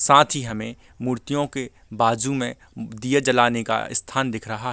साथ ही हमें मूर्तियों के बाजू मे दीये जलाने का स्थान दिख रहा --